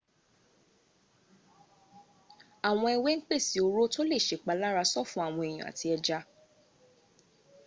àwọn ewé ń pèsè oró tó lè sèpalára sọ́fun àwọn èèyàn àti ẹja